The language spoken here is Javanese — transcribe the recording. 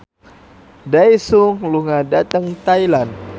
Daesung lunga dhateng Thailand